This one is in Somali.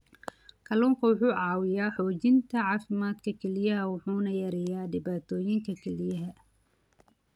Kalluunku wuxuu caawiyaa xoojinta caafimaadka kelyaha wuxuuna yareeyaa dhibaatooyinka kelyaha.